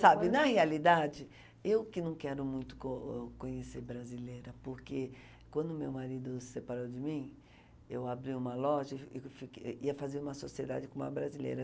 Sabe, na realidade, eu que não quero muito co conhecer brasileira, porque quando meu marido separou de mim, eu abri uma loja e e fique ia fazer uma sociedade com uma brasileira.